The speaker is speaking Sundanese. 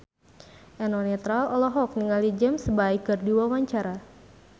Eno Netral olohok ningali James Bay keur diwawancara